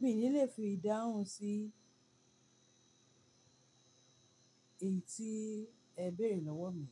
mi ò ní lè fi ìdáhùn sí ìbi tí ẹ béèrè lọ́wọ́ mi.